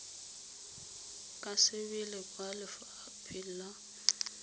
ka sebele kwa lefapheng la